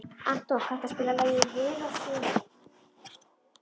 Anton, kanntu að spila lagið „Hiroshima“?